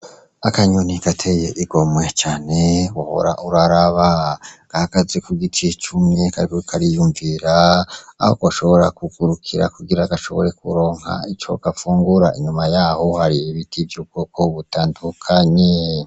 Akanyoni gateye igomwe cane uri uraraba gahagaze kugiti cumye kariko kariyumvira aho gashobora kugurukira kugira gashobore kuronka ico gafungura inyuma yaho hari ibiti vy'ubwoko butandukanye.